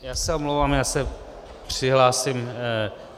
Já se omlouvám, já se přihlásím.